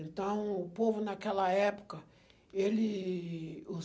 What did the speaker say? Então, o povo naquela época, ele, os